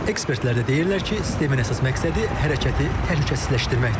Ekspertlər də deyirlər ki, sistemin əsas məqsədi hərəkəti təhlükəsizləşdirməkdir.